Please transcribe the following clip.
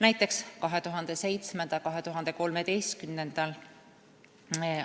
Näiteks 2007. ja 2013.